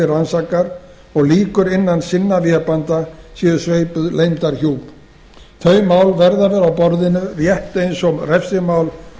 rannsakar og lýkur innan sinna vébanda séu sveipuð leyndarhjúp þau mál verða að vera á borðinu rétt eins og refsimál